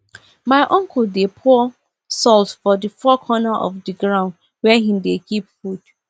my uncle dey pour salt for the four corner of the ground where he dey keep food